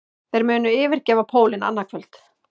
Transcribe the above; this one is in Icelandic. Þeir munu yfirgefa pólinn annað kvöld